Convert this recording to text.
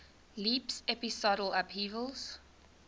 leaps episodal upheavals